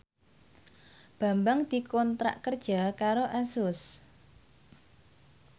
Bambang dikontrak kerja karo Asus